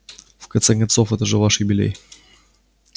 в конце концов это же ваш юбилей